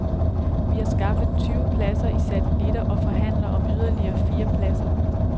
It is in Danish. Vi har skaffet tyve pladser i satellitter og forhandler om yderligere fire pladser.